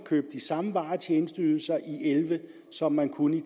købe de samme vare og tjenesteydelser i elleve som man kunne i